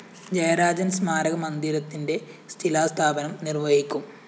ജയരാജന്‍ സ്‌മാരക മന്ദിരത്തിന്റെ ശിലാസ്ഥാപനം നിര്‍വ്വഹിക്കും